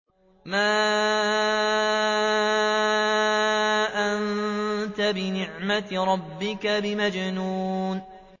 مَا أَنتَ بِنِعْمَةِ رَبِّكَ بِمَجْنُونٍ